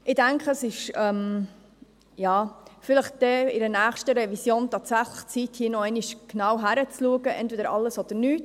Ich denke, es ist dann, bei der nächsten Revision tatsächlich an der Zeit, hier noch einmal hinzuschauen, im Sinne von entweder alles oder nichts.